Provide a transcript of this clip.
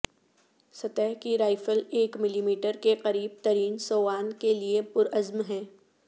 سطح کی رائفل ایک ملیمیٹر کے قریب ترین سووان کے لئے پرعزم ہے